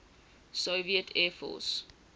soviet air force